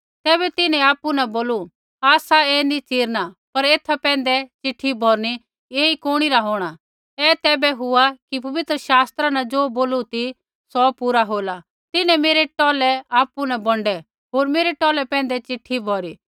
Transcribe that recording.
तैबै तिन्हैं आपु न बोलू आसा ऐ नी चिरणा पर एथा पैंधै चिट्ठी भौरनी कि ऐई कुणी रा होंणा ऐ तैबै हुआ कि पबित्र शास्त्रा न ज़ो बोलू ती सौ पूरा होला तिन्हैं मेरै टौलै आपु न बौन्डै होर मेरै टौलै पैंधै चिट्ठी भौरी